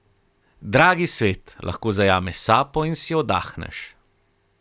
Dragi svet, lahko zajameš sapo in si oddahneš.